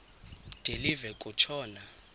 de live kutshona